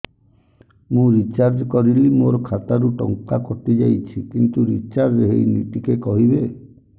ମୁ ରିଚାର୍ଜ କରିଲି ମୋର ଖାତା ରୁ ଟଙ୍କା କଟି ଯାଇଛି କିନ୍ତୁ ରିଚାର୍ଜ ହେଇନି ଟିକେ କହିବେ